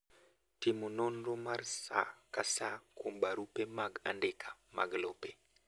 Timo nonro mar saa ka saa kuom barupe mag andika mag lope